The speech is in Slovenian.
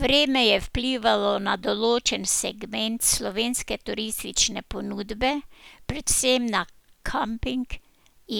Vreme je vplivalo na določen segment slovenske turistične ponudbe, predvsem na kamping